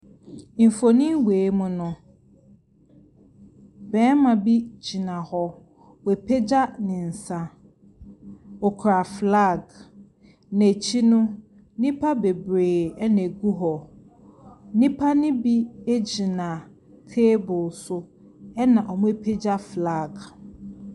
Mfonin wei mu no, barima bi gyina, wapagya ne nsa, okura flag. N’akyi no, nnipa bebree na ɛgu hɔ, nnipa ne bi gyina table so na wɔapagya flag.